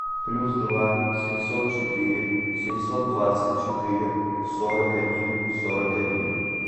плюс два семьсот четыре семьсот двадцать четыре сорок один сорок один